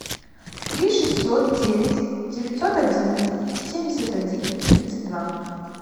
три шестьсот девять девятьсот одиннадцать семьдесят один тридцать два